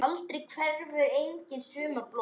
Aldrei hverfur angan sumra blóma.